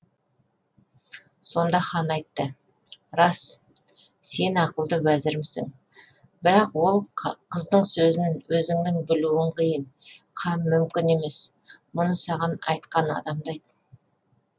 сонда хан айтты рас сен ақылды уәзірімсің бірақ ол қыздың сөзін өзіңнің білуің қиын һәм мүмкін емес мұны саған айтқан адамды айт